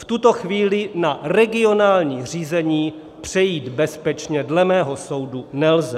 V tuto chvíli na regionální řízení přejít bezpečně dle mého soudu nelze.